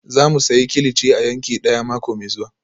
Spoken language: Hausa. Za mu sayi kilichi a yanki daya mako mai zuwa